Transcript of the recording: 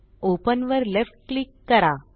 open वर left click करा